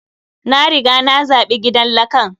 Na riga na zaɓi gidan lakan.